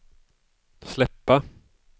släppa